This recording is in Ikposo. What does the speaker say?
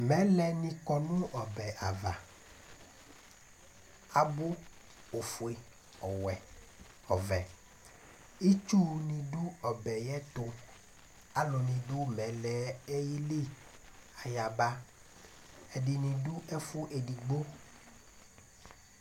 Mɛlɛ nikɔ nu ɔbɛ ava abu ofue ɔvɛ ɔwɛ , ,itsu nidu ɔbɛ yɛtu Alu nidu mɛlɛ yeli kayaba ɛdini nidu ɛfu edigbo